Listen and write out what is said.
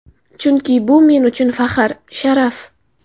Chunki bu men uchun faxr, sharaf.